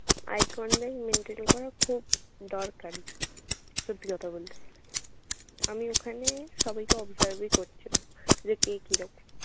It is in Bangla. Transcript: i condemned military ego খুব দরকারি সত্যি কথা বলতে। আমি ওখানে সবাইকে observe ই করছিলাম। যে কে কি রকম।